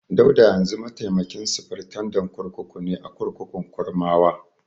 Dauda yanzu mataimakin sufritandan kurkuku ne a kurkukun Kurmawa.